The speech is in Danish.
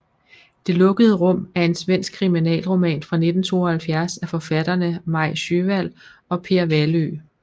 Det lukkede rum er en svensk kriminalroman fra 1972 af forfatterne Maj Sjöwall og Per Wahlöö